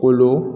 Kolo